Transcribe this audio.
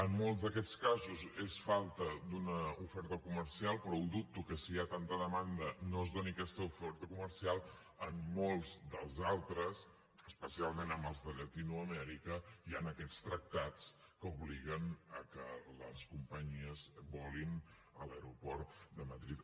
en molts d’aquests casos és falta d’una oferta comercial però dubto que si hi ha tanta demanda no es doni aquesta oferta comercial en molts dels altres especialment amb els de llatinoamèrica hi han aquests tractats que obliguen que les companyies volin a l’aeroport de madrid